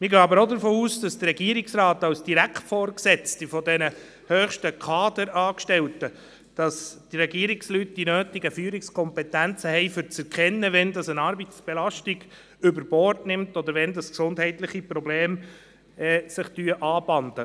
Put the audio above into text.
Wir gehen aber auch davon aus, dass die Regierungsratsmitglieder als direkte Vorgesetzte dieser höchsten Kaderangestellten die nötigen Führungskompetenzen haben, um zu erkennen, wenn eine Arbeitsbelastung überbordet oder wenn sich gesundheitliche Probleme anbahnen.